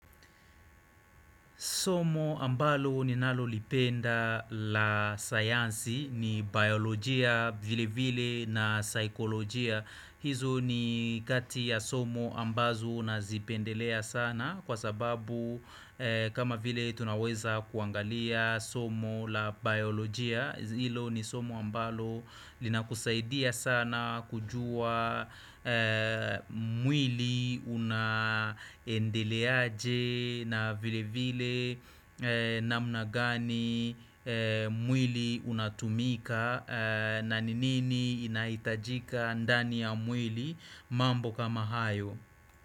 Somo ambalo ninalo lipenda la sayansi ni biolojia vile vile na saikolojia. Hizo ni kati ya somo ambazo nazipendelea sana kwa sababu kama vile tunaweza kuangalia somo la biolojia. Ilo ni somo ambalo linakusaidia sana kujua mwili unaendeleaje na vile vile namna gani mwili unatumika na nini ni inahitajika ndani ya mwili mambo kama hayo.